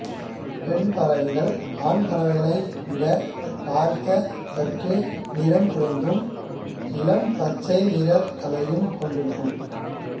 பெண் பறவைகள் ஆண் பறவைகளை விட பார்க்க சற்று நிறங் குறைந்தும் இளம் பச்சை நிறத் தலையும் கொண்டிருக்கும்